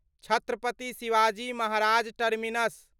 Chhatrapati Shivaji Maharaj terminus